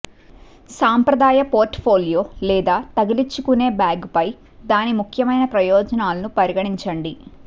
సంప్రదాయ portfolio లేదా తగిలించుకునే బ్యాగుపై దాని ముఖ్యమైన ప్రయోజనాలను పరిగణించండి